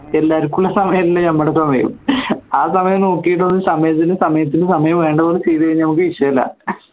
എല്ലാർക്കും ഉള്ള സമയല്ല നമ്മുടെ സമയം ആ സമയം നോക്കിയിട്ട് സമയത്തിന് സമയം വേണ്ടപോലെ ചെയ്തുകഴിഞ്ഞ വിഷയല്ല